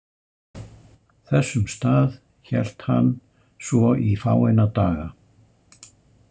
Þessum stað hélt hann svo í fáeina daga.